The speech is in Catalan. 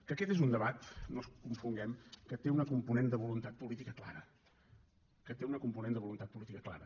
que aquest és un debat no ens confonguem que té una component de voluntat política clara que té una component de voluntat política clara